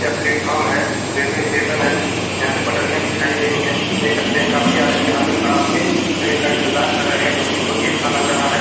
ये प्लेटफॉर्म है railway station है यहां पे पठरियाँ बिछाई गई है देख सकते हैं काफी आदमी यहां पे खड़ा होके रेल का इंतेज़ार कर रहे हैं जो की बहुत अच्छा लग रहा है।